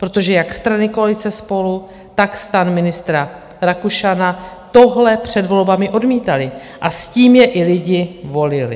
Protože jak strany koalice SPOLU, tak STAN ministra Rakušana tohle před volbami odmítaly a s tím je i lidi volili.